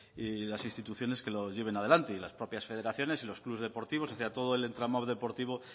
y las instituciones que lo lleven adelante y las propias federaciones y los clubs deportivos todo el entramado deportivo